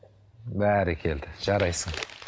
бәрекелді жарайсың